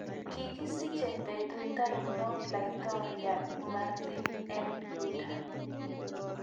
Kigisiche betut ainon laitoriatp MaritiN Luther